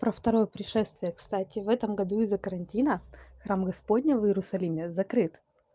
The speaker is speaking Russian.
про второе пришествие кстати в этом году из-за карантина храм господня в иерусалиме закрыт